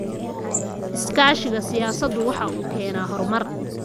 Iskaashiga siyaasaddu waxa uu keenaa horumar.